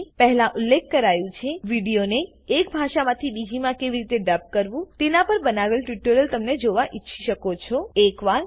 જેમ કે પહેલા ઉલ્લેખ કરાયું છે વિડીયોને એક ભાષામાંથી બીજીમાં કેવી રીતે ડબ કરવું તેનાં પર બનાવેલ ટ્યુટોરીયલને તમે જોવા ઈચ્છી શકો છો